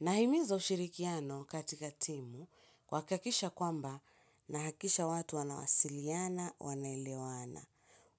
Nahimiza ushirikiano katika timu kuhakikisha kwamba na hakikisha watu wanawasiliana, wanaelewana.